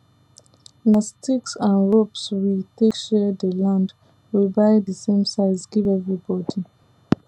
nah sticks and ropes we take share dey land we buy dey same size give everi bodi